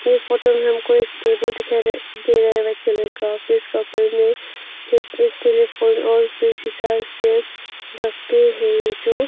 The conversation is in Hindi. ये फोटो में हमको एक टेबल दिखाई दे रहा व्हाइट कलर का एक टेलीफोन और फिर शीशा से ढक है जो--